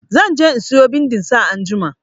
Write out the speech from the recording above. Zan je in siyo bindin sa anjima.